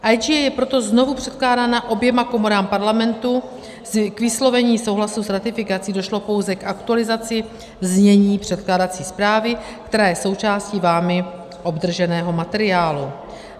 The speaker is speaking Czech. IGA je proto znovu předkládána oběma komorám Parlamentu k vyslovení souhlasu s ratifikací, došlo pouze k aktualizaci znění předkládací zprávy, která je součástí vámi obdrženého materiálu.